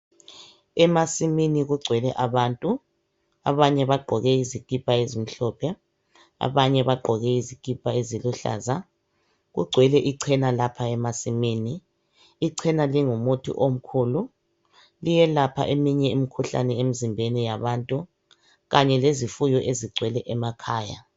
Emasimini kugcwele abantu, abanye bagqoke izikipa ezimhlophe, abanye bagqoke izikipa eziluhlaza. Kugcwele icena lapha emasimini. Icena lingumuthi omkhulu, liyelapha eminye imikhuhlane emizimbeni yabantu kanye lezifuyo ezigcwele emakhaya.